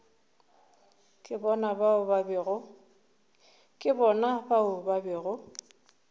ke bona bao ba bego